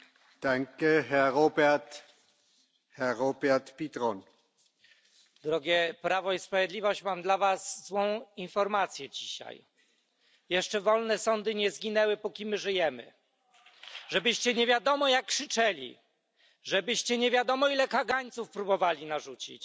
Panie Przewodniczący! Drogie Prawo i Sprawiedliwość, mam dla was złą informację dzisiaj. Jeszcze wolne sądy nie zginęły, póki my żyjemy. Żebyście nie wiadomo jak krzyczeli, żebyście nie wiadomo ile kagańców próbowali narzucić,